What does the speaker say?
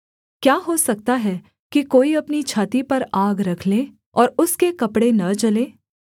क्या हो सकता है कि कोई अपनी छाती पर आग रख ले और उसके कपड़े न जलें